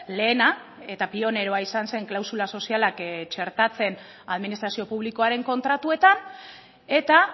lehena eta pioneroa izan zen klausula sozialak txertatzen administrazio publikoaren kontratuetan eta